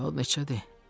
Saat neçədir?